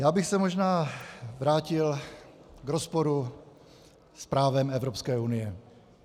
Já bych se možná vrátil k rozporu s právem Evropské unie.